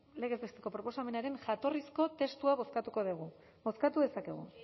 legez besteko proposamenaren jatorrizko testua bozkatuko dugu bozkatu dezakegu